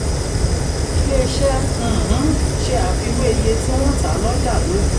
ilé iṣẹ́ um ṣe àfiwé iye tí wọ́n tà lọ́jà lónìí